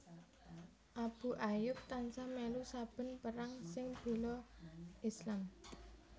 Abu Ayyub tansah mèlu saben perang sing béla Islam